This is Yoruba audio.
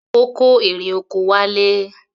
Ó kó erè oko wálé.